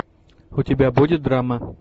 у тебя будет драма